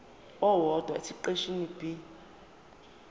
owodwa esiqeshini b